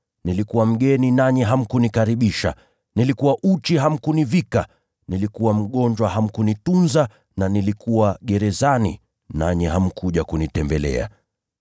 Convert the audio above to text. nilikuwa mgeni nanyi hamkunikaribisha, nilikuwa uchi hamkunivika, nilikuwa mgonjwa hamkunitunza, na nilikuwa gerezani nanyi hamkuja kunitembelea.’